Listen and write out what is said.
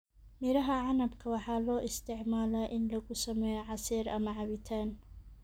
Miraha canabka waxaa loo isticmaalaa in lagu sameeyo casiir ama cabitaan.